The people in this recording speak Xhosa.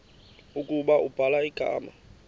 ukuba ubhala igama